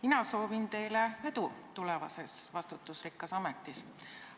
Mina soovin teile edu tulevases vastutusrikkas ametis!